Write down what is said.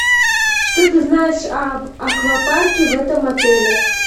что ты знаешь об аквапарке в этом отеле